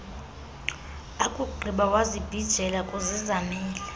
akugqiba wazibhijela kuzizamele